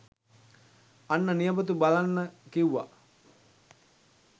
අන්න නියපොතු බලන්න කිව්ව